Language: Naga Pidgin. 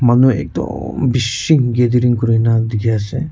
manu ekdum beshi gathering kurena dekhe ase.